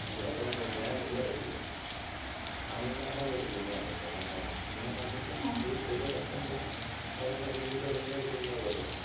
അയ്യോ അതാ ഞാൻ പറഞ്ഞെ. ഞാനീ എടയ്ക്ക് ഹൻഗാമ എന്നൊര് സിനിമ കണ്ടൂട്ടോ. ഹൻഗാമ. ഞാന് നോക്കിയപ്പോ ഈ പ്രീയദരശന്‍റ സാധാരണ ഹിന്ദിയില് റീമേക്ക് സിനിമകള് വരുവല്ലോ.